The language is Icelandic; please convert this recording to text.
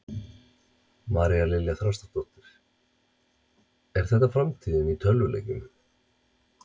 María Lilja Þrastardóttir: Er þetta framtíðin í tölvuleikjum?